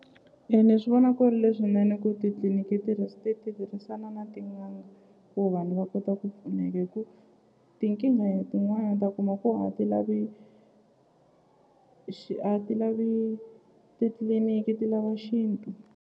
E ni swi vona ku ri leswinene ku titliliniki ti tirhisana na tin'anga ku vanhu va kota ku pfuneka hi ku tinkingha tin'wani ta kuma ku a ti lavi a ti lavi titliliniki ti lava xintu.